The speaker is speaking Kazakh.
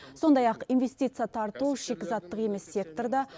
сондай ақ инвестиция тарту шикізаттық емес секторда